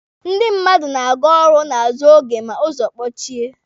Ndị mmadu na-aga ọrụ n'azụ oge ma ụzọ kpochie.